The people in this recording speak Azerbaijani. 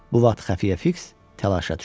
Bu vaxt xəfiyyə Fiks təlaşa düşdü.